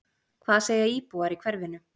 Hvað segja íbúar í hverfinu?